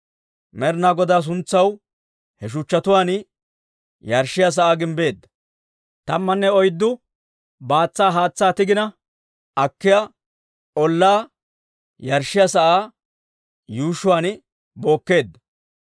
Med'inaa Godaa suntsaw he shuchchatuwaan yarshshiyaa sa'aa gimbbeedda. Tammanne oyddu baatsa haatsaa tigina akkiyaa ollaa yarshshiyaa sa'aa yuushshuwaan bookkeedda.